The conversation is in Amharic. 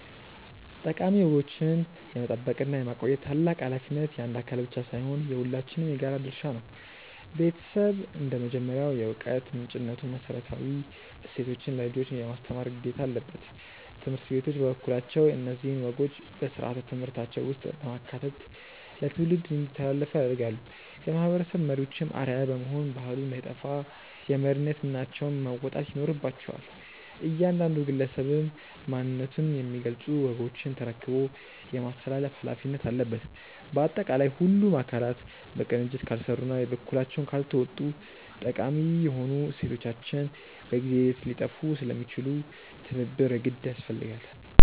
ጠቃሚ ወጎችን የመጠበቅና የማቆየት ታላቅ ኃላፊነት የአንድ አካል ብቻ ሳይሆን የሁላችንም የጋራ ድርሻ ነው። ቤተሰብ እንደ መጀመሪያው የዕውቀት ምንጭነቱ መሰረታዊ እሴቶችን ለልጆች የማስተማር ግዴታ አለበት። ትምህርት ቤቶች በበኩላቸው እነዚህን ወጎች በሥርዓተ ትምህርታቸው ውስጥ በማካተት ለትውልድ እንዲተላለፉ ያደርጋሉ። የማህበረሰብ መሪዎችም አርአያ በመሆን ባህሉ እንዳይጠፋ የመሪነት ሚናቸውን መወጣት ይኖርባቸዋል። እያንዳንዱ ግለሰብም ማንነቱን የሚገልጹ ወጎችን ተረክቦ የማስተላለፍ ኃላፊነት አለበት። ባጠቃላይ ሁሉም አካላት በቅንጅት ካልሰሩና የበኩላቸውን ካልተወጡ ጠቃሚ የሆኑ እሴቶቻችን በጊዜ ሂደት ሊጠፉ ስለሚችሉ ትብብር የግድ ያስፈልጋል።